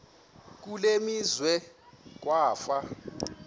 kule meazwe kwafa